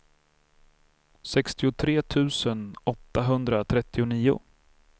sextiotre tusen åttahundratrettionio